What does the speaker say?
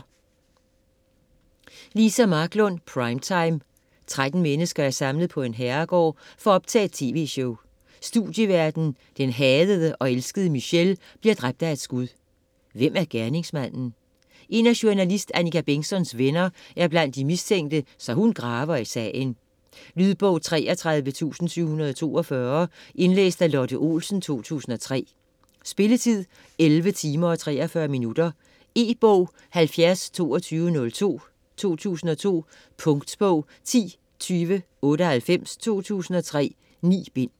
Marklund, Liza: Primetime 13 mennesker er samlet på en herregård for at optage et TV-show. Studieværten, den hadede og elskede Michelle, bliver dræbt af et skud. Hvem er gerningsmanden? En af journalist Annika Bengtzons venner er blandt de mistænkte, så hun graver i sagen. Lydbog 33742 Indlæst af Lotte Olsen, 2003. Spilletid: 11 timer, 43 minutter. E-bog 702202 2002. Punktbog 102098 2003. 9 bind.